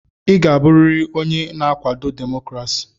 Ị ga-abụrịrị onye na-akwado demokrasi!